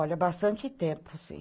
Olha, bastante tempo, sim.